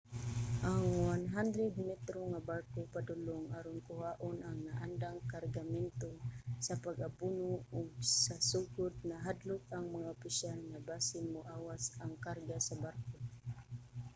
ang 100-metro nga barko padulong aron kuhaon ang naandang kargamento sa pag-abono ug sa sugod nahadlok ang mga opisyal nga basin moawas ang karga sa barko